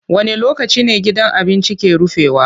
Wane lokaci ne gidan abincin ke rufewa?